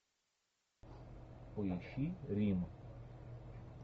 поищи рим